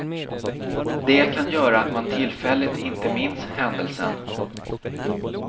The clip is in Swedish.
Det kan göra att man tillfälligt inte minns händelsen.